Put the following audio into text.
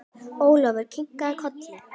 Ólafur kinkaði kolli.